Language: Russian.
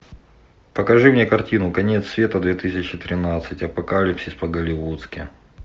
покажи мне картину конец света две тысячи тринадцать апокалипсис по голливудски